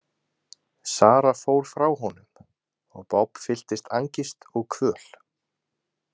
Sara fór frá honum og Bob fylltist angist og kvöl.